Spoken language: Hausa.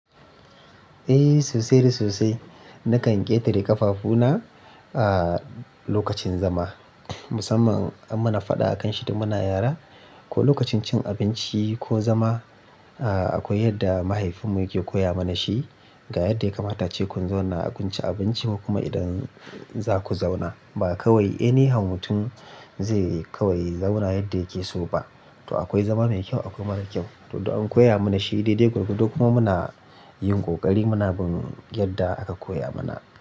Eh sosai da sosai. Nakan ƙetare ƙafafuna a lokacin zama, musamman an mana faɗa a kan shi da muna yara ko lokacin cin abinci ko zama. Akwai yadda mahaifinmu yake koya mana shi ga yadda ya kamata ace ku zauna a jkun cin abinci ko kuma idan za ku zauna. Ba kawai any how mutun zai kawai zauna yadda yake so ba. To akwai zama mai kyau akwai mara kyau. To du an koya mana shi daidai gwargwadon kuma muna yin ƙoƙari mu na bin yadda aka koya mana.